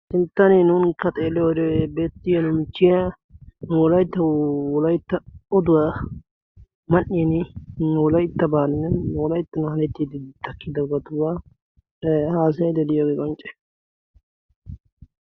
silttani nuunikka xeeloree beettiyo nu michchiya wolaytta wolaytta oduwaa man''in wolaittabaanne wolaytta nahalettiiddi dakki dogatuwaa haasaya deliyoogee qoncce